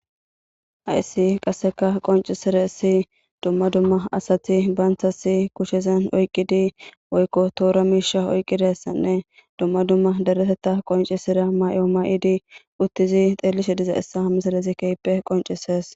haissi qasseka qoncisira issi dumma dumma asati baanthasi kushezen oyqqidi woykko toora miisha oyqqidessanne dumma dumma dereteta qoncisira may7o may7idi uttizi xeelishe diza issa misalazi keype qoncisees